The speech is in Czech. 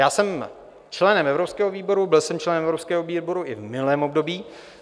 Já jsem členem evropského výboru, byl jsem členem evropského výboru i v minulém období.